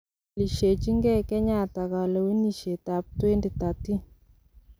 Kipelishejin gei Kenyatta kalewenisiet ab 2013.